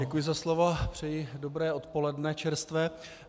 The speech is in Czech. Děkuji za slovo, přeji dobré odpoledne, čerstvé.